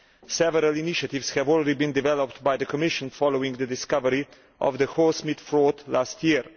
Several initiatives have already been developed by the Commission following the discovery of the horsemeat fraud last year.